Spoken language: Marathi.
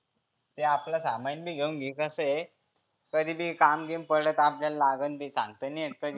ते आपलं सामाइन बी घेऊन घे. कसं आहे कधी बी काम बिम पडलं तर आपल्याला लागन बी सांगता नाही येत काही.